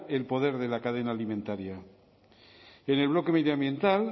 el poder de la cadena alimentaria en el bloque medioambiental